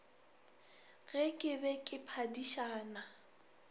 ge ke be ke phadišana